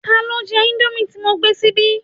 Tani o jẹ indomie ti mo gbé síbí?